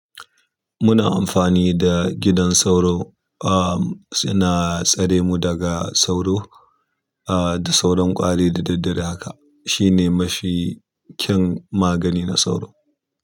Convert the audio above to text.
Muna amfani da gidan sauro, ah, suna tsare mu daga sauro, ah, da sauran ƙwari da daddare haka. Shi ne mafi kyan magani na sauro.